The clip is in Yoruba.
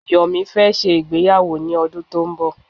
Yomi fẹ́ ṣe ìgbéyàwó ní ọdún tó n bọ̀.